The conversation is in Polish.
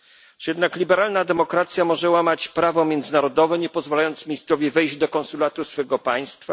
Czy jednak liberalna demokracja może łamać prawo międzynarodowe, nie pozwalając ministrowi wejść do konsulatu swego państwa?